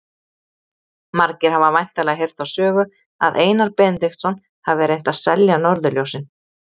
Margir hafa væntanlega heyrt þá sögu að Einar Benediktsson hafi reynt að selja norðurljósin.